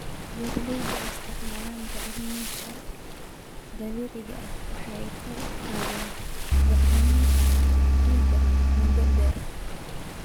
Beeralayda oo isticmaalaya bacrimiyeyaasha dabiiciga ah waxay kor u qaadaan bacriminta ciidda muddada dheer.